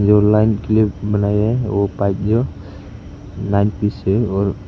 जो लाइन के लिए बनाया गया है वो पाइप जो नाइन पीस है और--